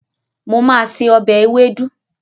Mo ma se ọbẹ̀ ewédú